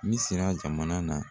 Misira jamana na.